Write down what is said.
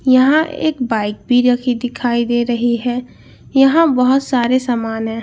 यहां एक बाइक भी रखी दिखाई दे रही है यहां बहुत सारे सामान हैं।